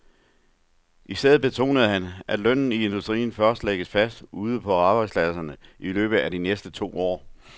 I stedet betonede han, at lønnen i industrien først lægges fast ude på arbejdspladserne i løbet af de næste to år.